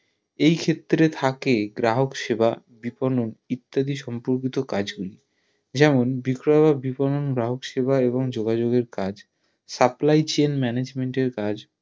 এই ক্ষেত্রে থাকে গ্রাহক সেবা বিবরণ ইত্যাদি সম্পর্কিত কাজ গুলি যেমন বিক্রয় ও বিবরণ গ্রাহক সেবা এবং যোগাযোগ এর কাজ supply chain management এর কাজ